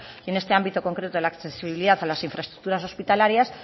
en este ámbito concreto de la accesibilidad a las infraestructuras hospitalarias